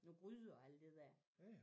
Nogle gryder og alt det der